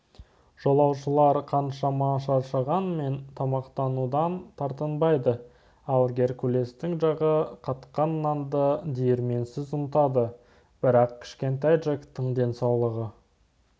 жолаушылар қаншама шаршағанмен тамақтанудан тартынбады ал геркулестің жағы қатқан нанды диірменсіз ұнтады бірақ кішкентай джектің денсаулығы